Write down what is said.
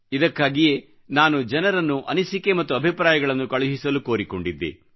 ಇದಕ್ಕಾಗಿಯೇ ನಾನು ಜನರನ್ನು ಅನಿಸಿಕೆ ಮತ್ತು ಅಭಿಪ್ರಾಯಗಳನ್ನು ಕಳುಹಿಸಲು ಕೋರಿಕೊಂಡಿದ್ದೆ